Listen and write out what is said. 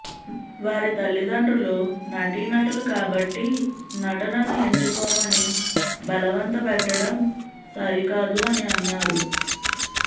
వారి తల్లిదండ్రులు నటీనటులు కాబట్టి నటనను ఎంచుకోమని బలవంత పెట్టడం సరికాదు అని అన్నారు